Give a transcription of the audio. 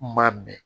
N ma bɛn